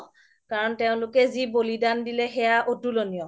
কাৰন তেওলোকে যি বলিদান দিলে সেইয়া অতুলনীয়